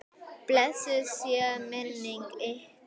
Blessuð sé minning ykkar.